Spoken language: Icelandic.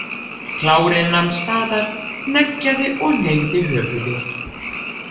Klárinn nam staðar, hneggjaði og hneigði höfuðið.